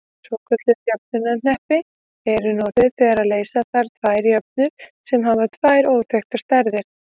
Svokölluð jöfnuhneppi eru notuð þegar leysa þarf tvær jöfnur sem hafa tvær óþekktar stærðir.